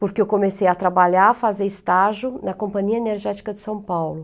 Porque eu comecei a trabalhar, a fazer estágio na Companhia Energética de São Paulo.